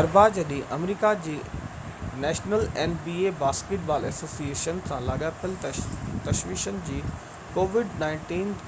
اربع جي ڏينهن، آمريڪا جي national basketball association nba covid-19 سان لاڳاپيل تشويشن جي